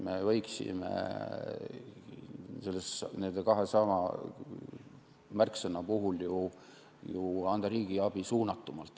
Me võiksime nende kahe märksõna puhul anda ju riigiabi suunatumalt.